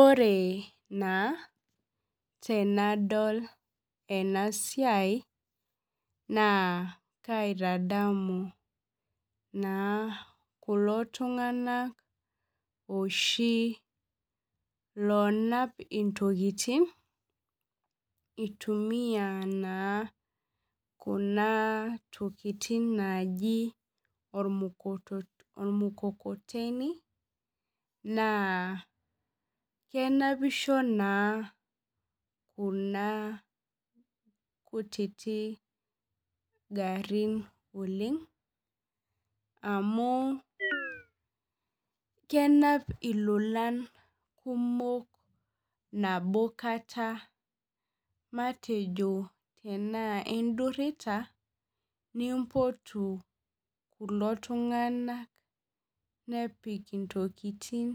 Ore na tenadol enasiai na kaitadamu na kulo tunganak oshi lonap ntokitin itumia nakuna tokitin tokitin naji ormukokoteni na kenapisho na kuna kutitik garin oleng amu kenap ilolan kumok nabo kata matejo tanaw idurira nimpotu kulo tunganak nepik ntokitin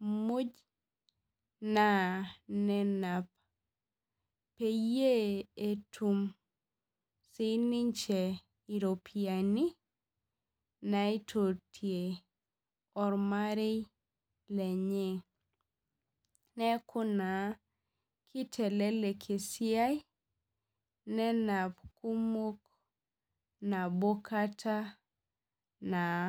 muj peyie etum sininche iropiyiani naitotie ormarei lenye neaku na kitelelek esiai nenap kumok nabo kata naa.